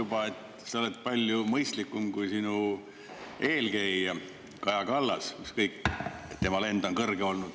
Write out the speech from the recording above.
Sa oled palju mõistlikum kui sinu eelkäija Kaja Kallas, ükskõik, et tema lend on kõrge olnud.